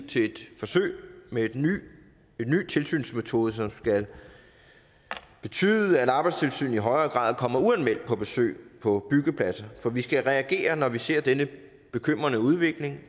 til et forsøg med en ny tilsynsmetode som skal betyde at arbejdstilsynet i højere grad kommer uanmeldt på besøg på byggepladser for vi skal reagere når vi ser denne bekymrende udvikling